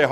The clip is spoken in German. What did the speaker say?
Der